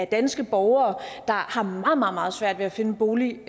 danske borgere der har meget meget svært ved at finde en bolig